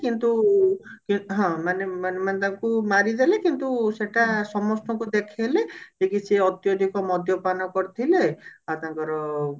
କିନ୍ତୁ କି ହଁ ମାନେ ମାନେ ତାଙ୍କୁ ମାରିଦେଲେ କିନ୍ତୁ ସେଟା ସମସ୍ତଙ୍କୁ ଦେଖେଇଲେ କି ସେ ଅତ୍ୟଧିକ ମଦ୍ୟପାନ କରିଥିଲେ ଆଉ ତାଙ୍କର